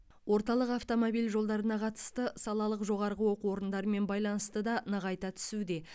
орталық автомобиль жолдарына қатысты салалық жоғарғы оқу орындарымен байланысты да нығайта түсуде